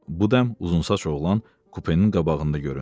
Bu dəm uzunsaç oğlan kupenin qabağında göründü.